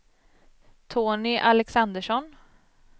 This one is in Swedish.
Tony Alexandersson